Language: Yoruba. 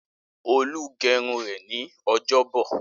Olú gẹrun rẹ̀ ní ọjọ́bọ̀.